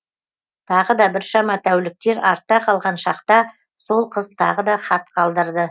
тағы да біршама тәуліктер артта қалған шақта сол қыз тағы да хат қалдырды